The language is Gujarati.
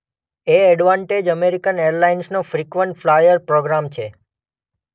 એ એડવાન્ટેજ અમેરિકન એરલાઇન્સનો ફ્રિકવન્ટ ફ્લાયર પ્રોગ્રામ છે.